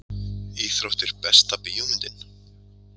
íþróttir Besta bíómyndin?